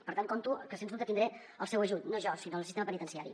per tant compto que sens dubte tindré el seu ajut no jo sinó el sistema penitenciari